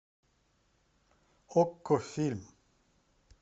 окко фильм